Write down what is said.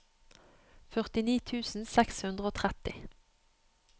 førtini tusen seks hundre og tretti